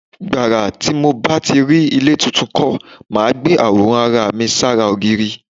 Nígbà tí mo bá rí ilé tuntun kan, màá gbé àwòrán ara mi sára ògiri.